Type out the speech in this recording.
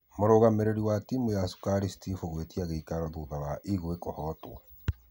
Mũrugamĩrĩri wa timũ ya cũkari steph agĩtia gũcokerio thutha wa ingwe kũhotwo.